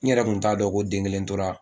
N yɛrɛ kun t'a dɔn ko den kelen tora